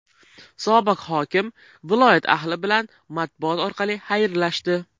Sobiq hokim viloyat ahli bilan matbuot orqali xayrlashdi.